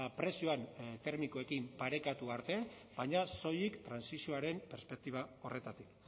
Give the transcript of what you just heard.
prezioan termikoekin parekatu arte baina soilik trantsizioaren perspektiba horretatik